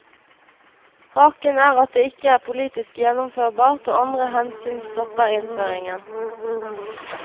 Haken er at det ikke er politisk gjennomførbart og andre hensyn stopper innføringen.